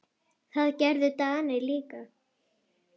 Það gerðu Danir líka.